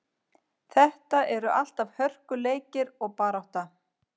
Þetta eru alltaf hörkuleikir og barátta.